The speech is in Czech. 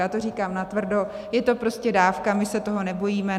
Já to říkám natvrdo, je to prostě dávka, my se toho nebojíme.